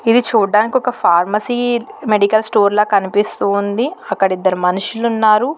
ఇది చూడ్డానికి ఒక మెడికల్ స్టోర్ ల కనిపిస్తూ ఉంది అక్కడ ఇద్దరు మనుషులు కనిపిస్తున్నారు.